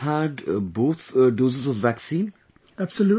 You must have had both doses of vaccine